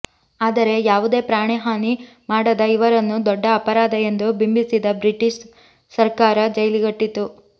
ಆದರೆ ಯಾವುದೇ ಪ್ರಾಣಹಾನಿ ಮಾಡದ ಇವರನ್ನು ದೊಡ್ಡ ಅಪರಾಧ ಎಂದು ಬಿಂಬಿಸಿದ ಬ್ರಿಟಿಷ್ ಸರಕಾರ ಜೈಲಿಗಟ್ಟಿತು